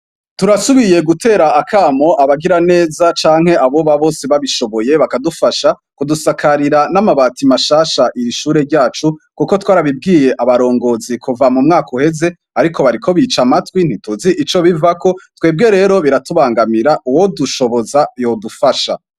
Turasubiye gutera akamo abagiraneza canke aboba bose babishoboye, bakadufasha kudusakarira n' amabati mashasha iri ishure ryacu, kuko twarabibwiye abarongozi kuva mu mwaka uheze, ariko bariko bica amatwi ntituzi ico bivako. Twebwe rero biratubangamira uwodushoboza yodufasha.